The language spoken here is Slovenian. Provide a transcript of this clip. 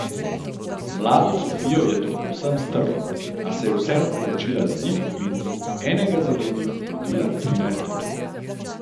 Mlado Sofijo je to povsem strlo, a se je vseeno poročila z njim in mu, enega za drugim, rodila trinajst otrok.